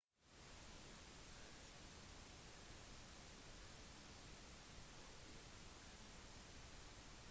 ingen har spilt oftere eller scoret flere mål for klubben enn bobek